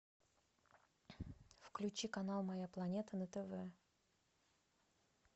включи канал моя планета на тв